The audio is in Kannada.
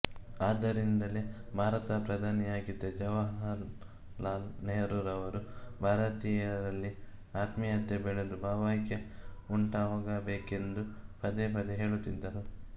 ಆದ್ದರಿಂದಲೇ ಭಾರತದ ಪ್ರಧಾನಮಂತ್ರಿಯಾಗಿದ್ದ ಜವಾಹರಲಾಲ್ ನೆಹರೂರವರು ಭಾರತೀಯರಲ್ಲಿ ಆತ್ಮೀಯತೆ ಬೆಳೆದು ಭಾವೈಕ್ಯ ಉಂಟಾಗಬೇಕೆಂದು ಪದೇ ಪದೇ ಹೇಳುತ್ತಿದ್ದರು